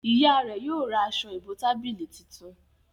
ìyá rẹ yóò rá Aṣọ ìbotábílì títún